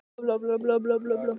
Vatnalög samþykkt á Alþingi.